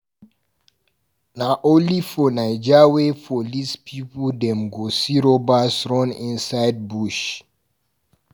Na only for naija wey police pipu dem go see robbers run inside bush.